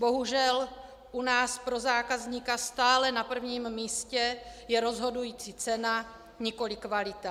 Bohužel u nás pro zákazníka stále na prvním místě je rozhodující cena, nikoliv kvalita.